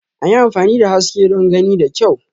An yi amfani da haske don gani da kyau.